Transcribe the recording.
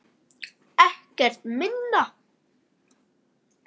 Ekkert minna!